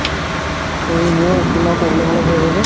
মোৰ skin ৰ problem অলপ হয় আছে যে